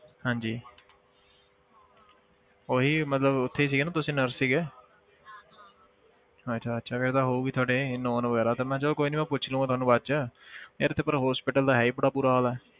ਹਾਂਜੀ ਉਹੀ ਮਤਲਬ ਉੱਥੇ ਹੀ ਸੀਗੇ ਨਾ ਤੁਸੀਂ nurse ਸੀਗੇ ਅੱਛਾ ਅੱਛਾ ਫਿਰ ਤਾਂ ਹੋਊਗੀ ਤੁਹਾਡੀ known ਵਗ਼ੈਰਾ ਤੇ ਮੈਂ ਚੱਲ ਕੋਈ ਨੀ ਉਹ ਪੁੱਛ ਲਊਂ ਉਹਨਾਂ ਨੂੰ ਬਾਅਦ 'ਚ ਯਾਰ ਇੱਥੇ ਪਰ hospital ਦਾ ਹੈ ਹੀ ਬੜਾ ਬੁਰਾ ਹਾਲ ਹੈ।